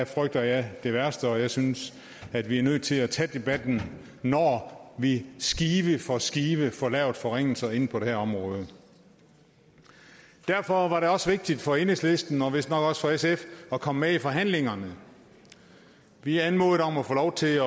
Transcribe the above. frygter jeg det værste og jeg synes at vi er nødt til at tage debatten når vi skive for skive får lavet forringelserne inden for det her område derfor var det også vigtigt for enhedslisten og vistnok også for sf at komme med i forhandlingerne vi anmodede om at få lov til at